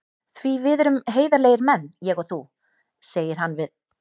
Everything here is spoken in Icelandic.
Því við erum heiðarlegir menn, ég og þú, segir hann við